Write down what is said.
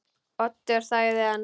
Oddur þagði enn.